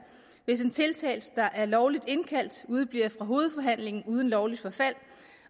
hvis en tiltalt der er lovligt indkaldt udebliver fra hovedforhandlingen uden lovligt forfald